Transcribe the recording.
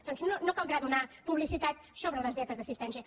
doncs no caldrà donar publicitat sobre les dietes d’assistència